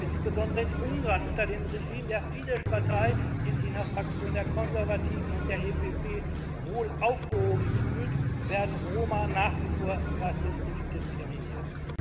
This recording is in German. Insbesondere in Ungarn unter dem Regime der Fidesz Partei, die sich in der Fraktion der Konservativen und der EVP wohl aufgehoben fühlt, werden Roma nach wie vor rassistisch diskriminiert.